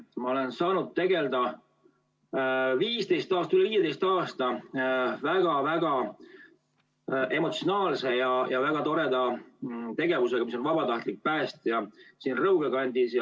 Ma olen saanud üle 15 aasta tegelda väga-väga emotsionaalse ja väga toreda tegevusega, olles vabatahtlik päästja Rõuge kandis.